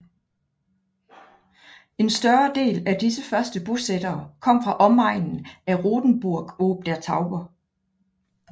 En større del af disse første bosættere kom fra omegnen af Rothenburg ob der Tauber